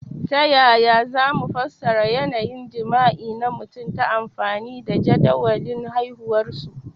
Ta yaya za mu fassara yanayin jima'i na mutum ta amfani da jadawalin haihuwarsu?